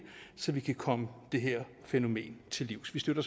så vi kan komme det her fænomen til livs vi støtter